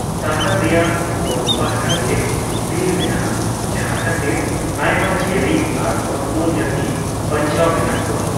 ᱥᱟᱦᱟᱨ ᱨᱮᱭᱟᱜ ᱯᱳᱱᱯᱟᱦᱟᱴᱟᱜᱮ ᱵᱤᱨ ᱢᱮᱱᱟᱜᱼᱟ ᱡᱟᱦᱟᱸ ᱠᱷᱟᱛᱤᱨ ᱟᱭᱢᱟ ᱡᱤᱭᱟᱹᱞᱤ ᱟᱨ ᱚᱛᱢᱚᱱ ᱡᱟᱹᱛᱤ ᱵᱟᱧᱪᱟᱣ ᱢᱮᱱᱟᱜᱠᱚᱣᱟ ᱾